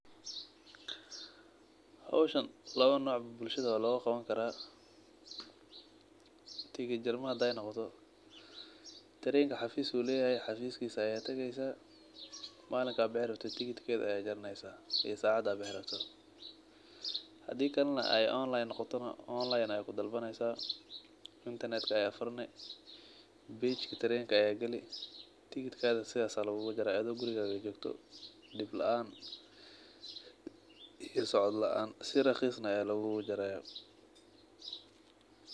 Hawsha lawa nooc bulshada waa loogaqaba kara tigit jarma hadey noqoto trainka xafiis ayuu leeyahay cafiiskisa ayaa tageysa malinka aad bixi rabto tigitkeedha ayaa jaraneysa iyo sacada aa bixi rabto hadii kale neh ey online noqoto neh online ayaa kudalbaneysa internet ka ayaa furani page ka train ka ayaa gali tigitkaga sidhaas ayaa lagugujare adhoo gurigaaga jogto dib laan iyo socod laan si raqiis neh aya lagugujaraya.